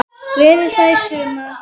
Verður hann þar í sumar?